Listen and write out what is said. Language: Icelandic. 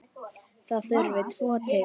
Það þurfti tvo til.